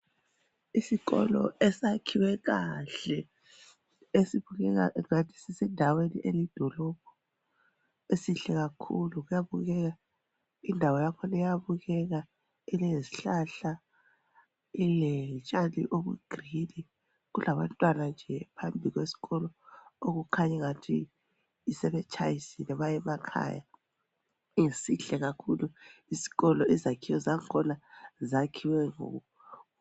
Isikolo esakhiwe kahle esibukeka ngathi sisendaweni elidolobho esihle kakhulu kuyabukeka indawo yakhona iyabukeka ilezihlahla iletshani obuyigreen , kulabantwana nje phambi kwesikolo okukhanyingathi sebetshayisile bayemakhaya. Sihle kakhulu isikolo izakhiwo zakhona zakhiwe kuhle.